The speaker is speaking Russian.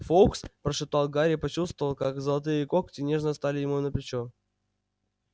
фоукс прошептал гарри и почувствовал как золотые когти нежно стали ему на плечо